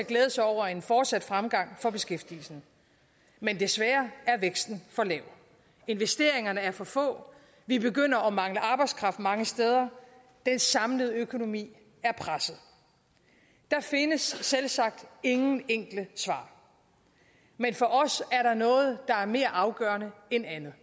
glæde sig over en fortsat fremgang for beskæftigelsen men desværre er væksten for lav investeringerne er for få vi begynder at mangle arbejdskraft mange steder den samlede økonomi er presset der findes selvsagt ingen enkle svar men for os er der noget der er mere afgørende end andet